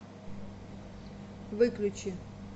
выключи